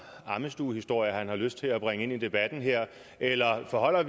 ammestuehistorier han har lyst til at bringe ind i debatten her eller forholder